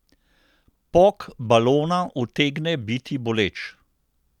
Pok balona utegne biti boleč.